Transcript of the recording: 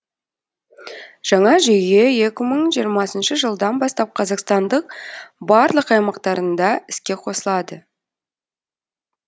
жаңа жүйе екі мың жиырмасыншы жылдан бастап қазақстандық барлық аймақтарында іске қосылады